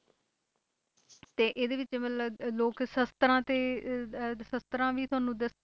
ਤੇ ਇਹਦੇ ਵਿੱਚ ਮਤਲਬ ਅਹ ਲੋਕ ਸ਼ਸ਼ਤਰਾਂ ਤੇ ਅਹ ਅਹ ਸ਼ਸ਼ਤਰਾਂ ਵੀ ਤੁਹਾਨੂੰ ਦੱਸ~